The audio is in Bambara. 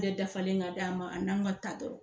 dafalen ka d'a ma an'an ka ta dɔrɔn